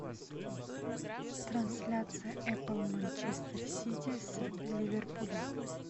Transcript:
трансляция апл манчестер сити с ливерпулем